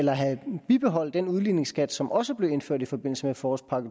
bibeholde den udligningsskat som også blev indført i forbindelse med forårspakke